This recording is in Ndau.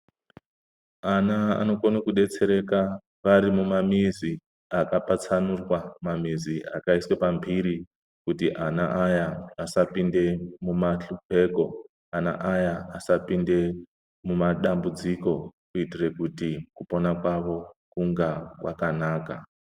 Ana anokona kudetsereka varimumamizi akapatsanurwa ,mamizi akaiswa pamhiri kuti ana aya asapinda mumahlupeko ana aya asapinda mumadambudziko kuitira kuti ana aya kupona kwavo kunge kwakanaka